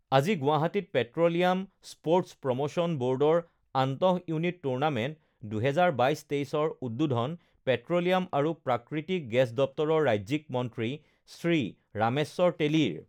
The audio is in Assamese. আজি গুৱাহাটীত পেট্ৰলিয়াম স্প'ৰ্টছ প্ৰম শ্যন ব'ৰ্ডৰ আন্তঃইউনিট টুৰ্ণামেন্ট, ২০২২-২৩ৰ উদ্বোধন পেট্ৰলিয়াম আৰু প্ৰাকৃতিক গেছ দপ্তৰৰ ৰাজ্যিক মন্ত্ৰী শ্ৰী ৰামেশ্বৰ তেলীৰ